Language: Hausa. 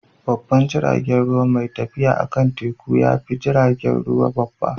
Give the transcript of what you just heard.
Babban jiragen ruwa mai tafiya akan teku ya fi jiragen ruwa babba.